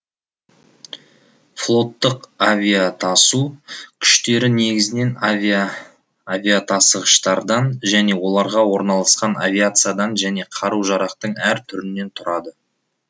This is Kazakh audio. флоттық авиатасу күштері негізінен авиа тасығыштардан және оларға орналасқан авиациядан және қаружарақтың әр түрінен тұрады